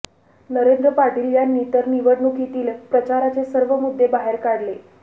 नरेंद्र पाटील यांनी तर निवडणुकीतील प्रचाराचे सर्व मुद्दे बाहेर काढले